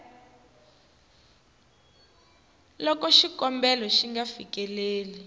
loko xikombelo xi nga fikeleli